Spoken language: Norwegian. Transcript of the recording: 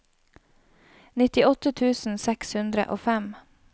nittiåtte tusen seks hundre og fem